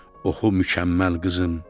oxu mükəmməl qızım.